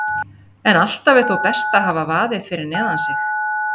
En alltaf er þó best að hafa vaðið fyrir neðan sig.